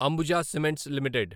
Ambuja cements limited